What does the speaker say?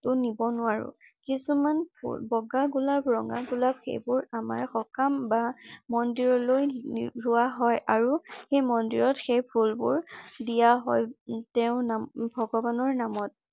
নিব নোৱাৰোঁ । কিছুমান বগা গোলাপ ৰঙা গোলাপ সেইবোৰ আমাৰ সকাম বা মন্দিৰলৈ লোৱা হয় আৰু সেই মন্দিৰত সেই ফুলবোৰ দিয়া হয়। তেওঁ নামত